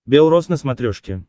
бел рос на смотрешке